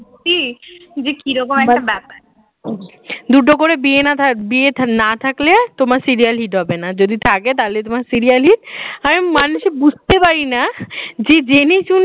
ছি, যে কিরকম একটা ব্যাপার দুটো করে বিয়ে না থাক বিয়ে না থাকলে তোমার serial hit হবে না যদি থাকে তাহলে তোমার serial hit আমি মানে বুঝতে পারি না যে জেনে শুনে